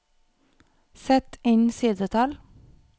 Sett inn sidetall